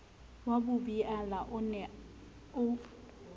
wa bobiala o ne o